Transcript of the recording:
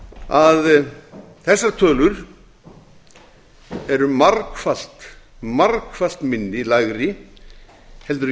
að þessar tölur eru margfalt margfalt lægri en